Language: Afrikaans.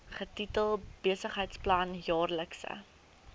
getitel besigheidsplan jaarlikse